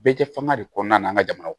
Bɛɛ kɛ fanga de kɔnɔna na an ka jamana kɔnɔ